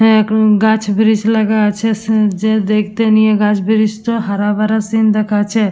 এ ক গাছ ব্রিস লাগা আছে। যে দেখতে নিয়ে গাছ ব্রিস টা হারা ভারা সিন দেখাচ্ছে--